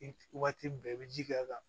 Waati bɛɛ i bɛ ji k'a kan